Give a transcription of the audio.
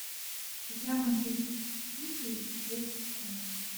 игра манчестер сити с вест хэмом